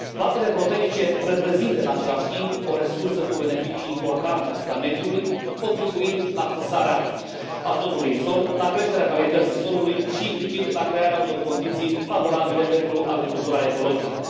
Plantele proteice reprezintă, în același timp, o resursă cu beneficii importante asupra mediului, contribuind la fixarea azotului în sol, la creșterea calității solului și, implicit, la crearea unor condiții favorabile pentru agricultura ecologică.